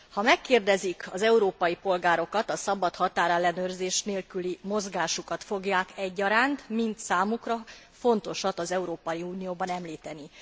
Ha megkérdezik az európai polgárokat, a szabad határellenőrzés nélküli mozgásukat fogják egyaránt, mint számukra fontosat az Európai Unióban, említeni.